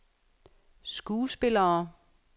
skuespillere